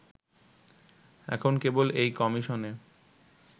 এখন কেবল এই কমিশনে